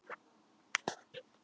Guðjón gamli stóð einn eftir.